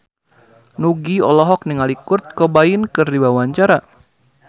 Nugie olohok ningali Kurt Cobain keur diwawancara